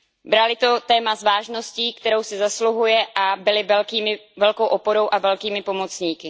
Brali to téma s vážností, kterou si zasluhuje, a byli velkou oporou a velkými pomocníky.